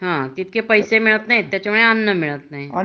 हा तितके पैसे मिळत नाही त्याच्यामुळ त्यांना अन्न मिळत नाही